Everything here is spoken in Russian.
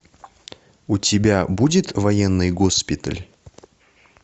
у тебя будет военный госпиталь